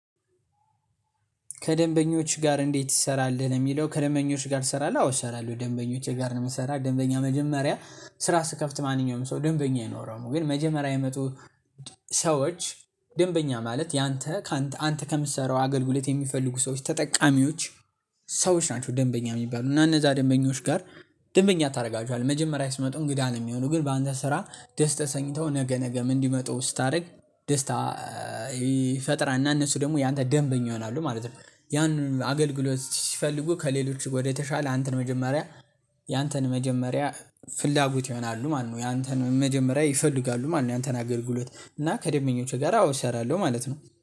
ከደንበኞች ጋር እንዴት ይሰራልህ ነው የሚለው? ከደንበኞች ጋር ልሰራለህ አዎ እሰራለሁ ደንበኞቼ ጋር ነው የምሰራ። ደንበኛ መጀመሪያ ስራ ስከፍት ማንኛውም ሰው ደንበኛ አይኖረውም። ግን መጀመሪያ የመጡ ሰዎች ደንበኛ ማለት ያንተ ካንተ አንተ ከምትሰራው አገልግሎት የሚፈልጉ ሰዎች ተጠቃሚዎች ሰዎች ናቸው። ደንበኛ የሚባሉ እና እነዛ ደንበኞች ጋር ደንበኛ ታደርጋቸዋለህ መጀመሪያ ሲመጡ እንግዳ ነው የሚሆኑ ግን በአንተ ስራ ደስ ተሰኝተው ነገ ነገም እንዲመጡ ስታደርግ ደስታ ይፈጥራል እና እነሱ ደግሞ ያንተ ደንበኛ ይሆናሉ ማለት ነው። ያንን አገልግሎት ሲፈልጉ ከሌሎች ወደተሻለ አንተን መጀመሪያ ያንተን መጀመሪያ ፍላጎት ይሆናሉ ማለት ነው። ያንተን መጀመሪያ ይፈልጋሉ ማነው? ያንተን አገልግሎት እና ከደንበኞቼ ጋር አዎ እሰራለሁ ማለት ነው